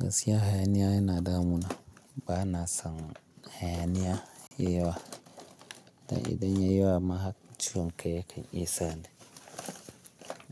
Gaskiya hayaniya yana damuna. Bana son hayaniya yayi yawa. Dan idan ya yi yawa ma ha ciwon kai ya kan iya sani.